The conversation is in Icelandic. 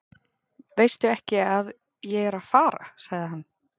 Veistu ekki að ég er að fara? sagði hann.